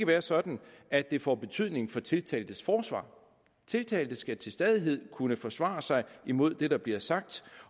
være sådan at det får betydning for tiltaltes forsvar tiltalte skal til stadighed kunne forsvare sig imod det der bliver sagt